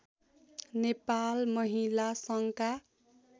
नेपाल महिला सङ्घका